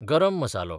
गरम मसालो